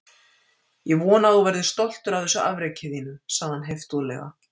Ég vona að þú verðir stoltur af þessu afreki þínu- sagði hann heiftúðlega.